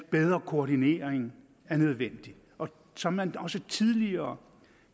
bedre koordinering er nødvendig så man også tidligere